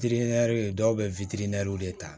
dɔw bɛ witiri de ta